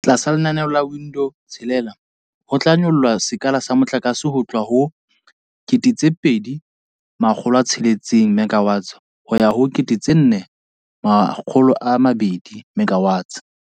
Tlasa lenaneo la Bid Window 6 ho tla nyollwa sekala sa motlakase ho tloha ho 2 600 MW ho ya ho 4 200 MW.